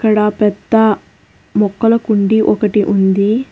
అక్కడ పెద్ద మొక్కల కుండి ఒకటి ఉంది.